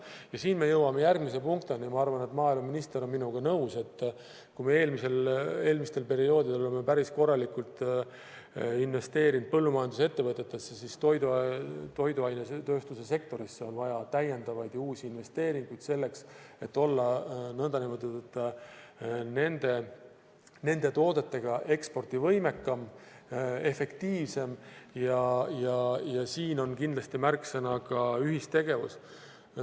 Ja siin me jõuame järgmise punktini : kui me eelmistel perioodidel oleme päris korralikult investeerinud põllumajandusettevõtetesse, siis toiduainetööstuse sektorisse on vaja täiendavaid uusi investeeringuid, selleks et olla nende toodetega ekspordivõimekam, efektiivsem ja siin on kindlasti märksõna ka ühistegevus.